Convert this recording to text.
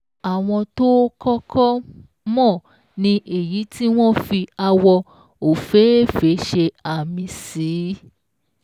Àwọn tó o kọ́kọ́ mọ̀ ni èyí tí wọ́n fi àwọ̀ òféèfé ṣe àmì sí.